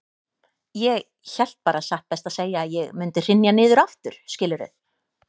Ég hélt bara satt best að segja að ég mundi hrynja niður aftur, skilurðu.